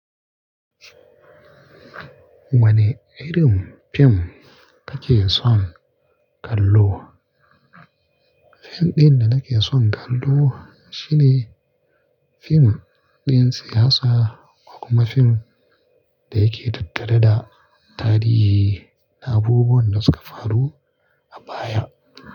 Wane irin fim kake son kallo? Fim ɗin da nake son kallo shine fim ɗin siyasa ko kuma fim da yake tattare da tarihi da abubuwan da suka faru a baya.